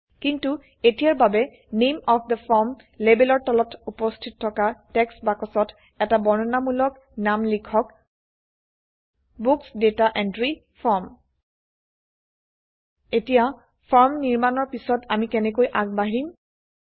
কিন্তু এতিয়াৰ বাবে নামে অফ থে ফৰ্ম লেবেলৰ তলত উপস্থিত থকা টেক্সট বাক্সত এটা বৰ্ণনামূলক নাম লিখক বুক্স ডাটা এন্ট্ৰি ফৰ্ম এতিয়া ফৰ্ম নিৰ্মাণৰ পিছত আমি কেনেকৈ আগ বাঢ়িম160